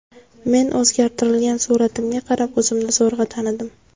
Meni o‘zgartirilgan suratimga qarab o‘zimni zo‘rg‘a tanidim.